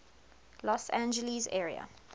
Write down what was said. los angeles area